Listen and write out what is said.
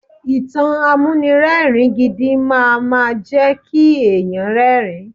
Ìtàn amúnirẹ́ẹ̀rin gidi máama jẹ́ kí èèyàn rẹ́rin.